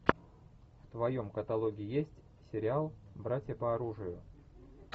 в твоем каталоге есть сериал братья по оружию